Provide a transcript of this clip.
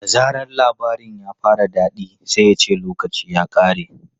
Da zaran labarin ya fara daɗi sai ya ce 'lokaci ya ƙare!'